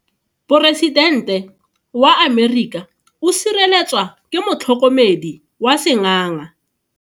Poresitente wa Amerika o sireletswa ke motlhokomedi wa sengaga.